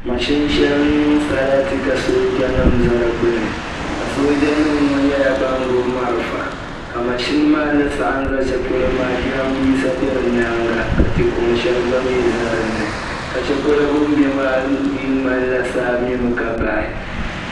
Maʒini shɛli niŋ sarati ka soojanima za di gbuni ka soojanima ŋɔ nyɛla ban gbubi malfa ka maʒini ni saɣim ʒi shɛli polo maa jirabiisa bɛ di nyaaŋa ka tikuŋ shɛli mi za dini ka shɛlipolo bɛni bɛ ŋmanila saa mi mi ka bayi.